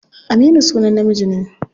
Aminu sunan namiji ne.